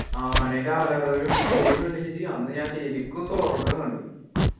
ആനേൻ്റെ അലറലും പിണ്ടിയൊക്കെ കണ്ടിട്ടേ ജ്ജ് അന്ന് ഞാൻ ശരിക്കും സ്വർഗം കണ്ടു